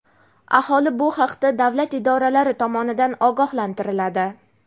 aholi bu haqda davlat idoralari tomonidan ogohlantiriladi.